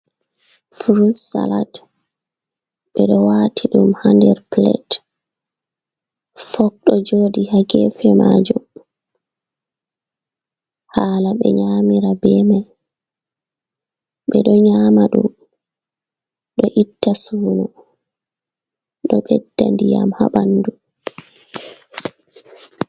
Frut salat ɓe ɗo wati dum ha nder plet, fok ɗo jooɗi ha gefe majum hala ɓe nyamira bemai, ɓe ɗo nyama ɗum ɗo itta suno ɗo beɗɗa ndiyam ha bandu.